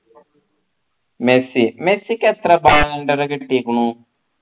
Messi മെസ്സിക്ക് എത്ര കിട്ടികുണു